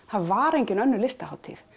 það var engin önnur listahátíð